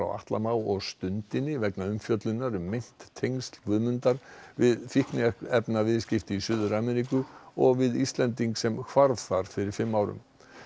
Atla Má og Stundinni vegna umfjöllunar um meint tengsl Guðmundar við fíkniefnaviðskipti í Suður Ameríku og við Íslending sem hvarf þar fyrir fimm árum